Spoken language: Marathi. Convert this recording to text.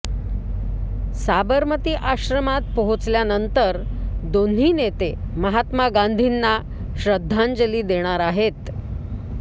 साबरमती आश्रमात पोहचल्यानंतर दोन्ही नेते महात्मा गांधींना श्रद्धांजली देणार आहेत